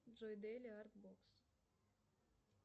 джой дейли арт бокс